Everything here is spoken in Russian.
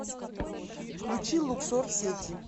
включи луксор сети